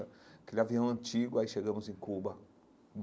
Aquele avião antigo, aí chegamos em Cuba.